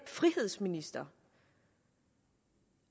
frihedsminister